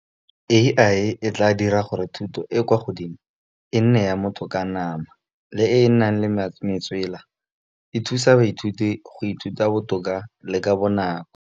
A_I e tla dira gore thuto e kwa godimo e nne ya motho ka nama. Le e e nang le metswela e thusa baithuti go ithuta botoka le ka bonako.